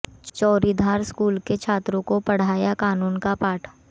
Chauridhar school के छात्रों को पढ़ाया कानून का पाठ